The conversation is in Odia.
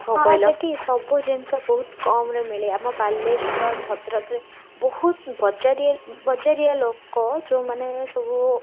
ସେଠି ସବୁ ଜିନିଷ ବହୁତ କମ୍ରେ ମିଳେ ଆମ ବାଲେଶ୍ଵର ଭଦ୍ରକରେ ବହୁତ ବଜାରଆ ବାଜରିଆ ଲୋକ ଯୋଉ ମାନେ ସବୁ